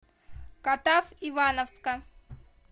катав ивановска